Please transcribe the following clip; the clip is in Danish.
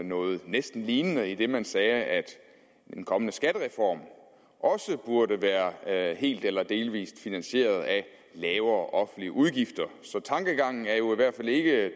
noget næsten lignende idet man sagde at den kommende skattereform også burde være helt eller delvist finansieret af lavere offentlige udgifter så tankegangen er jo i hvert fald ikke